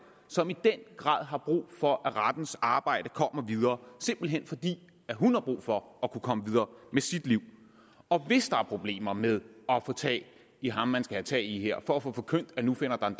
som i den grad har brug for at rettens arbejde kommer videre simpelt hen fordi hun har brug for at kunne komme videre med sit liv og hvis der er problemer med at få tag i ham man skal have tag i her for at få forkyndt at nu finder der